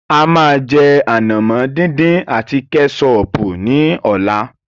A máa jẹ ànàmọ́ dín dín àti Kẹ́sọọ̀pù ní ọ̀la.